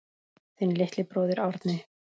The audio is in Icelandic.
Þinn litli bróðir, Árni.